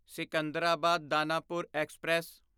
Secunderabad Danapur express